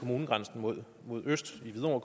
herre